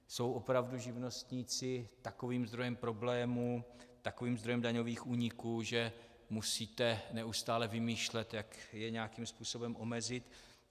Jsou opravdu živnostníci takovým zdrojem problémů, takovým zdrojem daňových úniků, že musíte neustále vymýšlet, jak je nějakým způsobem omezit?